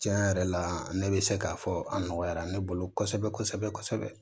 Tiɲɛ yɛrɛ la ne bɛ se k'a fɔ a nɔgɔyara ne bolo kosɛbɛ kosɛbɛ